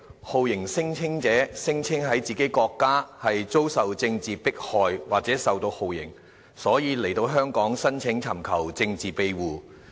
酷刑聲請者聲稱在自己國家遭受政治迫害或受到酷刑，所以來到香港申請尋求政治庇護。